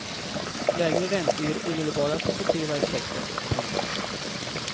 Lägre räntor ger omedelbara positiva effekter. punkt